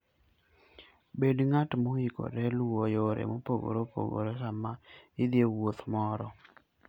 Bed ng'at moikore luwo yore mopogore opogore sama idhi e wuoth moro.